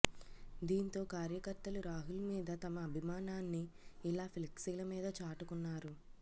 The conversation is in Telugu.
దీంతో కార్యకర్తలు రాహుల్ మీద తమ అభిమానాన్ని ఇలా ఫ్లెక్సీల మీద చాటుకున్నారు